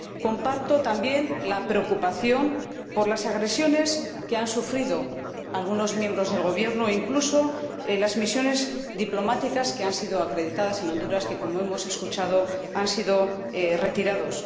Comparto también la preocupación por las agresiones que han sufrido algunos miembros del Gobierno, incluso en las misiones diplomáticas acreditadas en Honduras que, como hemos escuchado, han sido retiradas.